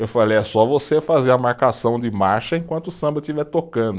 Eu falei, é só você fazer a marcação de marcha enquanto o samba estiver tocando.